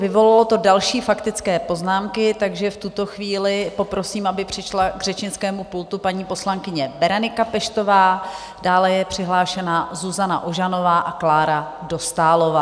Vyvolalo to další faktické poznámky, takže v tuto chvíli poprosím, aby přišla k řečnickému pultu paní poslankyně Berenika Peštová, dále je přihlášena Zuzana Ožanová a Klára Dostálová.